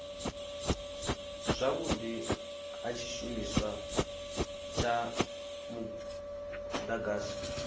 zwavhudi ha tshishumiswa tsha mudagasi